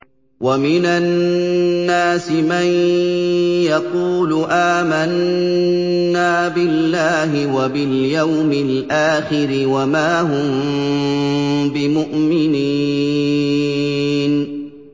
وَمِنَ النَّاسِ مَن يَقُولُ آمَنَّا بِاللَّهِ وَبِالْيَوْمِ الْآخِرِ وَمَا هُم بِمُؤْمِنِينَ